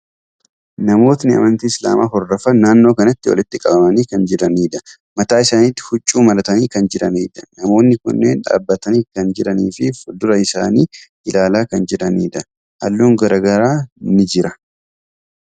Namootni amantii Islaamaa hordofan naannoo kanatti walitti qabamanii kan jiraniidha. Mataa isaanitti huccuu maratanii kan jiraniidha. Namootni kunneen dhaabbatanii kan jiranii fi fuuldura isaanii ilaalaa kan jiraniidha. Halluun garaagaraa ni jira.